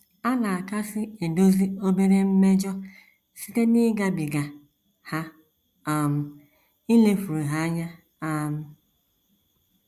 A na - akasị edozi obere mmejọ site n’ịgabiga ha um, ilefuru ha anya. um